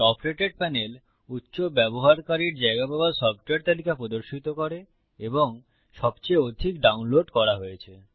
top rated panel উচ্চ ব্যবহারকারী জায়গা পাওয়া সফ্টওয়্যার তালিকা প্রদর্শিত করে এবং সবচেয়ে অধিক ডাউনলোড করা হয়েছে